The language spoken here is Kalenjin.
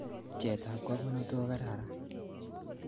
Chet ab kamanutik kokararan